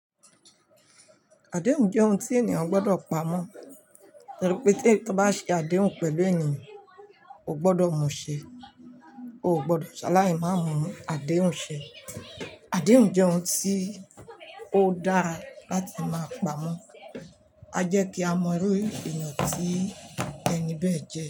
Àdéhùn jẹ́ ohun tí ènìyàn gbọdọ̀ pamọ́, nítorí pé tí ẹ bá ṣe àdéhùn pẹ̀lú ènìyàn, o gbọdọ̀ mú ṣẹ, o ò gbọdọ̀ ṣaláì máa mú àdéhùn ṣẹ. Àdéhùn jẹ́ ohun tí ó dára láti máa pamọ́. A jẹ́ kí a mọ irú ènìyàn tí ẹni bẹ́ẹ̀ jẹ́